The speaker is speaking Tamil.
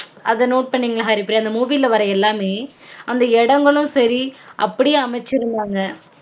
அத note பன்னீங்களா ஹரிப்ரியா அந்த movie வர்ர எல்லாமே அந்த இடங்களும் சரி அப்டியெ அமைச்சுருந்தாங்க